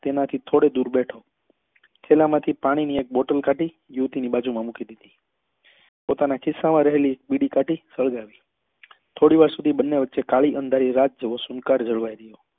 તેના થી થોડો દુર બેઠો થેલા માંથી પાણી ની એક bottle કાઢી યુવતી ની બાજુ માં મૂકી દીધી પોતાના ખિસ્સા માં રહેલી બીડી કાઢી સળગાવી થોડી વાર સુધી બંને વચે કાળી અંધારી રાત જેવી જળવાઈ રહ્યો